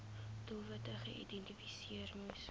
doelwitte geïdentifiseer moes